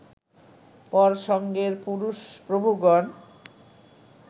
পর সঙ্গের পুরুষ প্রভুগণ